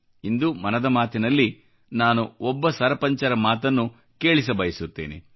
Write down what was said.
ಇಂದು ಮನದ ಮಾತಿನಲ್ಲಿ ನಾನು ಒಬ್ಬ ಸರಪಂಚರ ಮಾತನ್ನು ಕೇಳಿಸಬಯಸುತ್ತೇನೆ